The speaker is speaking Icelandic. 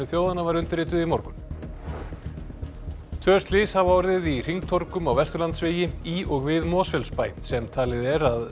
þjóðanna var undirrituð í morgun tvö slys hafa orðið í hringtorgum á Vesturlandsvegi í og við Mosfellsbæ sem talið er að